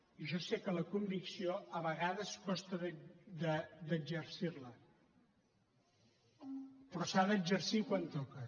i jo sé que la convicció a vegades costa d’exercir la però s’ha d’exercir quan toca